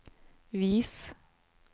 vis